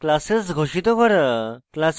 classes ঘোষিত করা